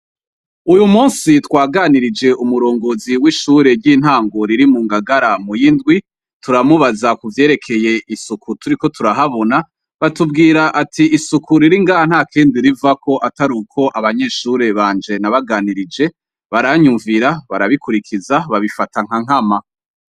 Uyu musi twaganirije umurongozi w'ishure ry'intango riri mu ngagara mu'y'indwi turamubaza kuvyerekeye isuku turiko turahabona batubwira ati isuku riringa nta kendi rivako atari uko abanyeshure banje nabaganirije baranyumvira barabikurikiza babifata nka nkama.